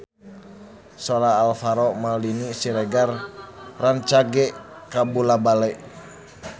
Sora Alvaro Maldini Siregar rancage kabula-bale